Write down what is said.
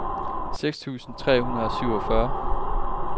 seks tusind tre hundrede og syvogfyrre